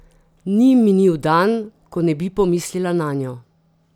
Ni minil dan, ko ne bi pomislila nanjo!